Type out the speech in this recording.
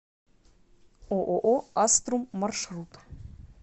ооо аструм маршрут